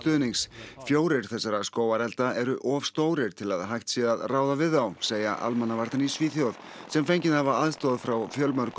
fjórir þessara skógarelda eru of stórir til að hægt sé að ráða við þá segja almannavarnir í Svíþjóð sem fengið hafa aðstoð frá